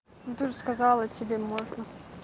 ну ты же сказала тебе можно